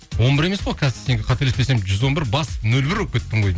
он бір емес қой қазір сенікі қателеспесем жүз он бір бас нөл бір болып кеттің ғой